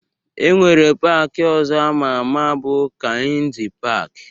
E nwere paaki ọzọ ama ama bụ Kainji paaki